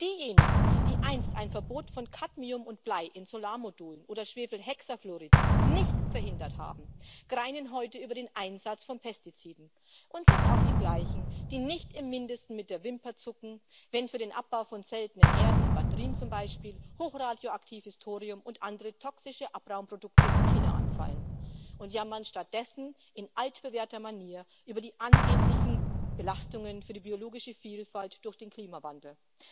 Und diejenigen, die einst ein Verbot von Cadmium und Blei in Solarmodulen oder Schwefelhexafluorid nicht verhindert haben, greinen heute über den Einsatz von Pestiziden und sind auch die Gleichen, die nicht im Mindesten mit der Wimper zucken, wenn für den Abbau von seltenen Erden in Batterien zum Beispiel hochradioaktives Thorium und andere toxische Abraumprodukte in China anfallen, und jammern stattdessen in altbewährter Manier über die angeblichen Belastungen für die biologische Vielfalt durch den Klimawandel.